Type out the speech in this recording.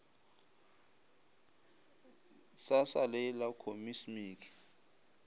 sa sa lee la khosmiki